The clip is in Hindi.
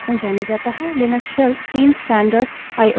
लिनक्स shells तीन standard आईओ i/o streams का उपयोग करते हैं